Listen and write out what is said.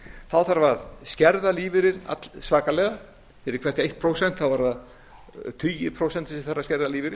þá þarf að skerða lífeyri allsvakalega fyrir hvert eitt prósent voru það tugir prósenta sem þarf að skerða lífeyri